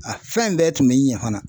A fɛn bɛɛ tun bɛ kan fana.